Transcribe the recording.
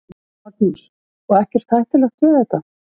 Magnús: Og ekkert hættulegt við þetta?